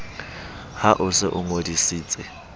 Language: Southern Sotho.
ha o se o ngodisitse